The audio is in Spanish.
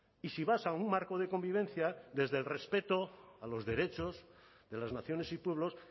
y si vas a un marco de convivencia desde el respeto a los derechos de las naciones y pueblos